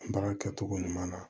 Baara kɛcogo ɲuman na